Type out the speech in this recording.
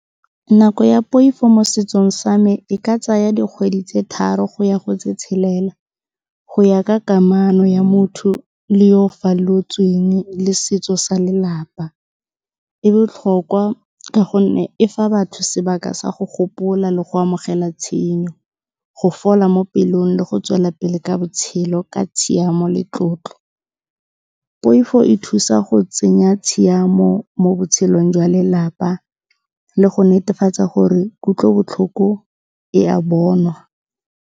Nako ya poifo mo setsong sa me e ka tsaya dikgwedi tse tharo go ya go tse tshelela, go ya ka kamano ya motho le yo o falotsweng le setso sa lelapa. E botlhokwa ka gonne e fa batho sebaka sa go gopola le go amogela tshenyo, go fola mo pelong le go tswela pele ka botshelo ka tshiamo le tlotlo. Poifo e thusa go tsenya tshiamo mo botshelong jwa lelapa le go netefatsa gore kutlobotlhoko e a bonwa.